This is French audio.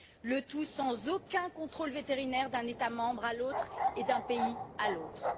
le tout sans aucun contrôle vétérinaire d'un État membre à l'autre et d'un pays à l'autre.